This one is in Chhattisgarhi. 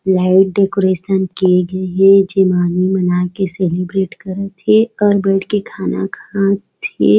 लाइट डेकोरेशन किये गए है जेमा आदमी मन आके सेलिब्रेट करत है और बैठके खाना खात हे।